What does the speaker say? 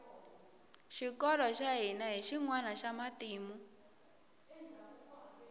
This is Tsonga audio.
xikolo xa hina hi xinwana xa matimu